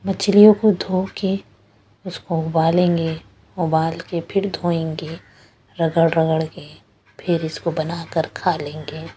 मछलियों को धो के उसको उबालेंगे उबाल के फिर धोएंगे रगड़-रगड़ के फिर इसको बनाकर खा लेंगे--